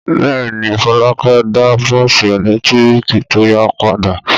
Bẹ́ẹ̀ ni, Folúkẹ́ da bọ́ọ́sì ẹ̀lẹ́tíríkì tó yá padà.